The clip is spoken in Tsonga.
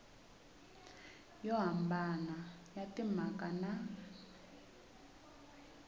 yo hambana ya timhaka na